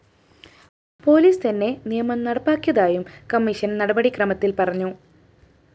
police തന്നെ നിയമം നടപ്പാക്കിയതായും കമ്മീഷൻ നടപടിക്രമത്തില്‍ പറഞ്ഞു